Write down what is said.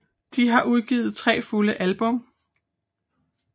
De har udgivet 3 fulde album